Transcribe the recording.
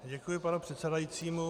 Děkuji panu předsedajícímu.